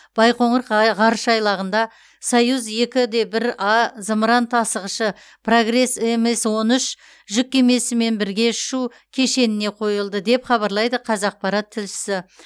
байқоңыр ға ғарыш айлағында союз екі де бір а зымыран тасығышы прогресс мс он үш жүк кемесімен бірге ұшу кешеніне қойылды деп хабарлайды қазақпарат тілшісі